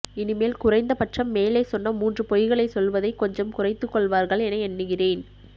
இனிமேல் குறைந்தபட்சம் மேலே சொன்ன மூன்று பொய்களைச் சொல்வதைக் கொஞ்சம் குறைத்துக் கொள்வார்கள் என எண்ணுகிறேன்